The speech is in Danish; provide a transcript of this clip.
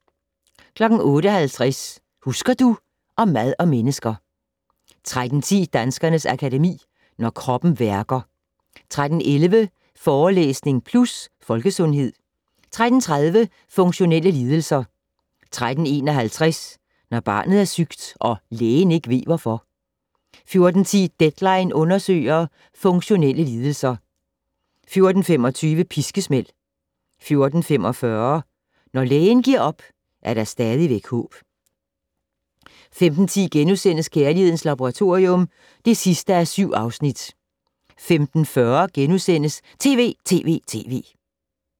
08:50: Husker du... Om mad og mennesker 13:10: Danskernes Akademi: Når kroppen værker 13:11: Forelæsning Plus - Folkesundhed 13:30: Funktionelle lidelser 13:51: Når barnet er sygt - og lægen ikke ved hvorfor 14:10: "Deadline" undersøger - funktionelle lidelser 14:25: Piskesmæld 14:45: Når lægen giver op, er der stadigvæk håb 15:10: Kærlighedens Laboratorium (7:7)* 15:40: TV!TV!TV! *